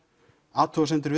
athugasemdir